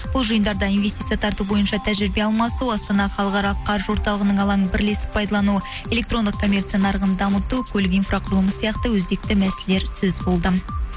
бұл жиындарда инвестиция тарту бойынша тәжірибе алмасу астана халықаралық қаржы орталығының алаңын бірлесіп пайдалану электрондық коммерция нарығын дамыту көлік инфрақұрылымы сияқты өзекті мәселелер сөз болды